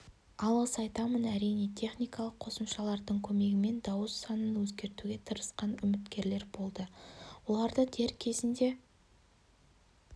алғыс айтамын әрине техникалық қосымшалардың көмегімен дауыс санын өзгертуге тырысқан үміткерлер болды оларды дер кезінде